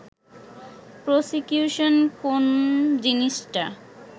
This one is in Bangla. প্রসিকিউশন কোন্ জিনিসটা